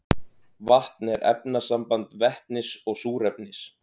vatn er efnasamband vetnis og súrefnis